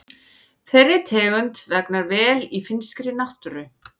Þeirri tegund vegnar vel í finnskri náttúru.